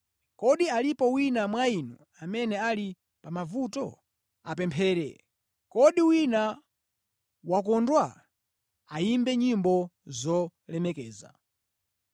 Kodi alipo wina mwa inu amene ali pa mavuto? Apemphere. Kodi wina wakondwa? Ayimbe nyimbo zolemekeza.